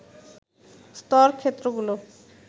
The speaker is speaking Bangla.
স্তর ক্ষেত্রগুলো